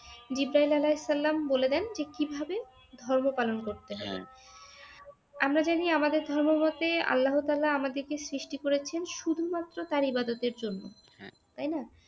জিব্রায়িল আলাহিসাল্লাম বলে দেন যে কিভাবে ধর্ম পালন করতে হয় আমরা জানি আমাদের ধর্ম মতে আল্লাহ তাআলা আমাদেরকে সৃষ্টি করেছেন শুধুমাত্র তার ইবাদতের জন্য তাইনা